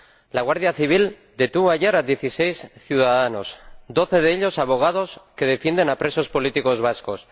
La Guardia Civil detuvo ayer a dieciséis ciudadanos doce de ellos abogados que defienden a presos políticos vascos